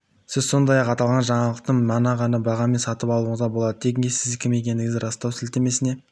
сіз сондай-ақ аталған жаңалықты мына бағамен де сатып алуыңызға болады тенге сіз кім екендігіңізді растау сілтемесіне